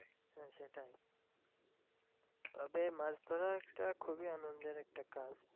তবে মাছ ধরা একটা খুবই আনন্দের একটা কাজ।